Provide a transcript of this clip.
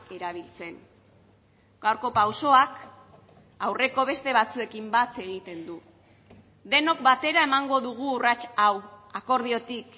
erabiltzen gaurko pausoak aurreko beste batzuekin bat egiten du denok batera emango dugu urrats hau akordiotik